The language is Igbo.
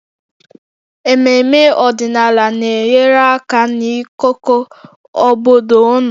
Ememme ọdịnala na-enyere aka n'ịkọkọ obodo ọnụ